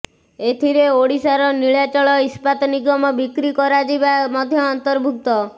ଏଥିରେ ଓଡ଼ିଶାର ନୀଳାଚଳ ଇସ୍ପାତ ନିଗମ ବିକ୍ରି କରାଯିବା ମଧ୍ୟ ଅନ୍ତର୍ଭୁକ୍ତ